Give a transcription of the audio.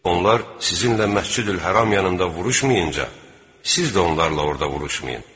Onlar sizinlə Məscidül-Həram yanında vuruşmayınca, siz də onlarla orda vuruşmayın.